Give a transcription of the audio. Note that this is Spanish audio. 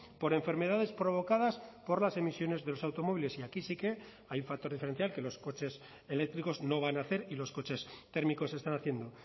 por enfermedades provocadas por las emisiones de los automóviles y aquí sí que hay un factor diferencial que los coches eléctricos no van a hacer y los coches térmicos están haciendo